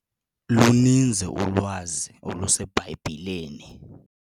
Luninzi ulwazi oluseBhayibhileni.